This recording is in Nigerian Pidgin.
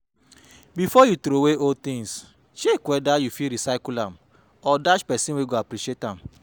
Before you throway old things check whether you fit recycle am or dash persin wey go appreciate am